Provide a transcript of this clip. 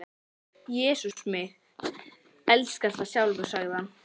Jesús mig elskar það sjálfur sagði hann.